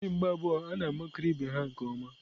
Ndị mgba abụọ a na-amakịrị ibe ha nke ọma.